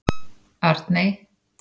Arney